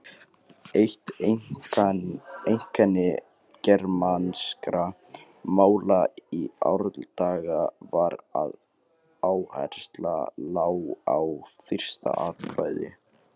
Eitt einkenni germanskra mála í árdaga var að áhersla lá á fyrsta atkvæði.